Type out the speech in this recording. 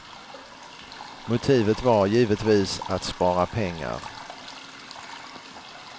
Motivet var givetvis att spara pengar.